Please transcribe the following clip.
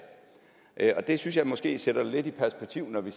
her det synes jeg måske sætter det lidt i perspektiv når vi